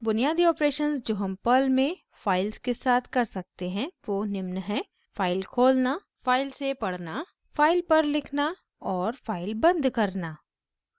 बुनियादी ऑपरेशन्स जो हम पर्ल में फाइल्स के साथ कर सकते हैं वो निम्न हैं: